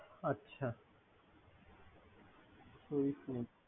আচ্ছা ।